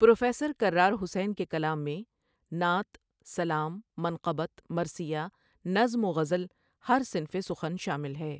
Professor Karar Hussain کے کلام میں نعت، سلام، منقبت، مرثیہ، نظم و غزل ہر صنفِ سخن شامل ہے۔